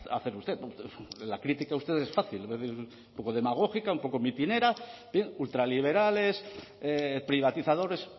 hacer usted la crítica a usted es fácil un poco demagógica un poco mitinera bien ultraliberales privatizadores